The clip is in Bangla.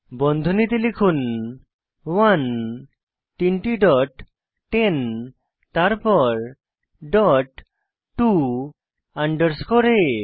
বন্ধনীতে লিখুন 1 তিনটি ডট 10 তারপর ডট টো আন্ডারস্কোর আ